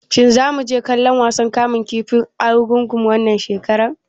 Shin zamu je kallon wasan kamun kifin Argungu wannan shekara?